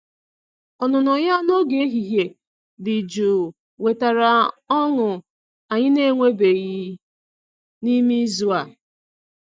Ọnụnọ ya n'oge ehihie dị jụụ wetara ọñụ anyị na-enwebeghị n'ime izu a.